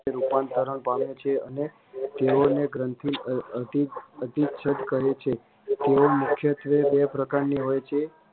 રૂપાંતરણ પામે છે અને ત્યારે એ ગ્રંથની અધીછેદ કહે છે તે મુખ્યત્વે બે પ્રકારની હોય છે